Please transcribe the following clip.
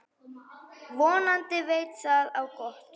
Vonandi veit það á gott.